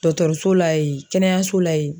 Dɔkɔtɔrɔso la yen kɛnɛyaso la yen.